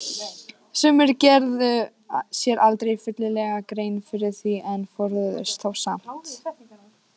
Sumir gerðu sér aldrei fyllilega grein fyrir því en forðuðust þá samt.